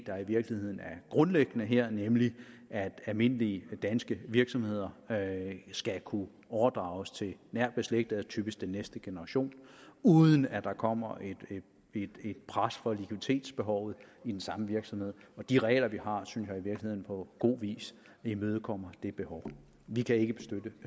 der i virkeligheden er grundlæggende her nemlig at almindelige danske virksomheder skal kunne overdrages til nært beslægtede og typisk den næste generation uden at der kommer et pres fra likviditetsbehovet i den samme virksomhed og de regler vi har synes jeg i virkeligheden på god vis imødekommer det behov vi kan ikke